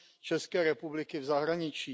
České republiky v zahraničí.